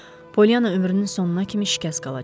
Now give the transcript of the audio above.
Pollyana ömrünün sonuna kimi şikəst qalacaqdı.